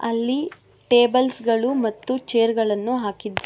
ಅಲ್ಲಿ ಟೇಬಲ್ಸ್ ಗಳು ಮತ್ತು ಚೇರ್ ಗಳನ್ನು ಹಾಕಿದ್ದಾರೆ.